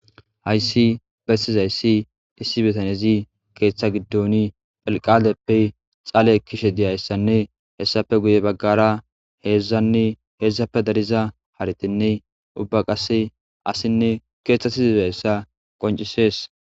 Hayssi bessizayssi issi bitanezi keeththa giddoni phelqaadeppe xaale ekishe diyayssanne hessafe guye baggara heedzdzanne heedzdzape dariza haritinne ubba qasse asinne keeththasi zizzayssa qoncisees.